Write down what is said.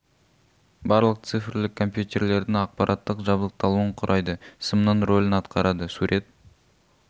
барлық цифрлік компьютерлердің аппараттық жабдықталуын құрайды сымның рөлін атқарады сурет